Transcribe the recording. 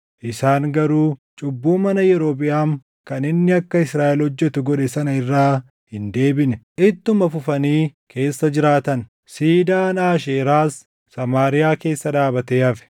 Isaan garuu cubbuu mana Yerobiʼaam kan inni akka Israaʼel hojjetu godhe sana irraa hin deebine; ittuma fufanii keessa jiraatan. Siidaan Aasheeraas Samaariyaa keessa dhaabatee hafe.